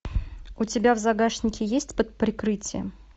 у тебя в загашнике есть под прикрытием